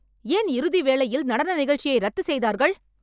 ஏன் இறுதி வேளையில் நடன நிகழ்ச்சியை ரத்து செய்தார்கள்